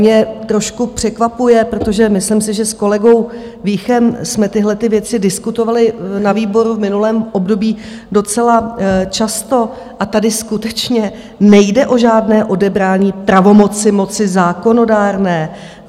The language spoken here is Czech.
Mě trošku překvapuje, protože myslím si, že s kolegou Víchem jsme tyhlety věci diskutovali na výboru v minulém období docela často, a tady skutečně nejde o žádné odebrání pravomoci moci zákonodárné.